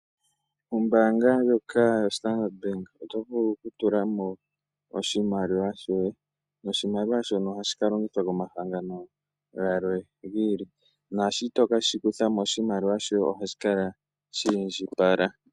Ombaanga ndjoka yoStandard Bank oto vulu okutula mo oshimaliwa shoye, oshimaliwa shoka ohashi ka longithwa komahangano galwe giili, ngele to ke shi kutha mo, oshimaliwa shoye ohashi kala sha indjipala.